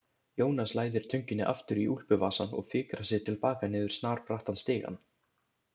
Jónas læðir tönginni aftur í úlpuvasann og fikrar sig til baka niður snarbrattan stigann.